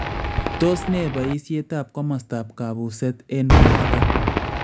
Tos ne baayiisyeetab komosostaab kabuuseet eng borto